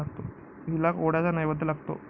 हिला कोहळ्याचा नैवैद्य लागतो.